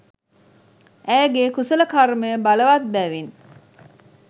ඇයගේ් කුසල කර්මය බලවත් බැවින්